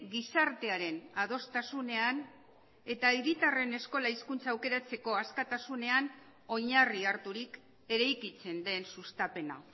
gizartearen adostasunean eta hiritarren eskola hizkuntza aukeratzeko askatasunean oinarri harturik eraikitzen den sustapena